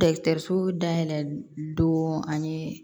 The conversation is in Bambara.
Dɔgɔtɔrɔso dayɛlɛ don ani